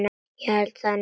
Ég held það nú!